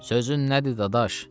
Sözün nədir, Dadaş?